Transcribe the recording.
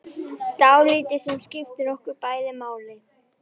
Dáldið sem skiptir okkur bæði máli.